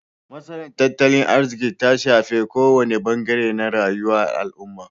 Matsalar tattalin arziki ta shafar kowane bangare na rayuwa al'umma.